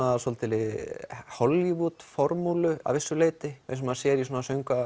svolítilli Hollywood formúlu að vissu leyti eins og maður sér í söngva